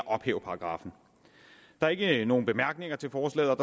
ophæve paragraffen der er ikke nogen bemærkninger til forslaget